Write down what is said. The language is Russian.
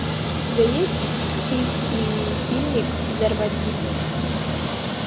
у тебя есть в списке фильмик взорвать гитлера